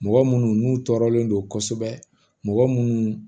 Mɔgɔ munnu n'u tɔɔrɔlen don kosɛbɛ mɔgɔ minnu